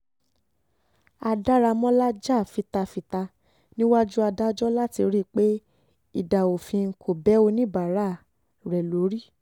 a daramọ́lá jà fita fita níwájú adájọ́ láti rí i pé idà òfin kò bẹ oníbàárà oníbàárà rẹ̀ lórí